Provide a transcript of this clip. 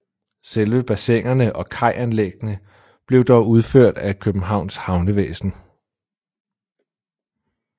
Selve bassinerne og kajanlæggene blev dog udført af Københavns Havnevæsen